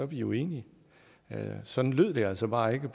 vi jo enige sådan lød det altså bare ikke